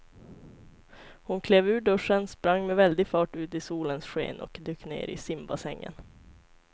Hon klev ur duschen, sprang med väldig fart ut i solens sken och dök ner i simbassängen.